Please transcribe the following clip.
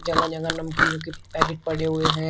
जगह जगह नमकीनो के पैकेट पड़े हुए हैं।